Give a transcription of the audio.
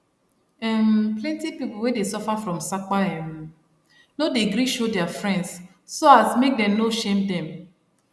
um plenty people wey dey suffer from sapa um no dey gree show their friends so as make dem no shame dem